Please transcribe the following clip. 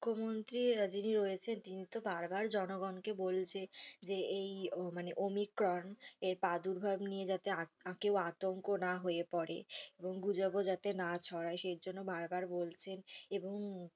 মুখ্যমন্ত্রী যিনি রয়েছেন তিনি তো বারবার জনগণকে বলছে যে মানে এই ওম্নিক্রন প্রাদুর্ভাব নিয়ে যাতে আ কেউ আতঙ্ক না হয়ে পরে কেউ এবং রোগ রোগাণু যাতে না ছড়ায়। সে জন্য বারবার বলছেন এবং